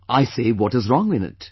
I say what is wrong in it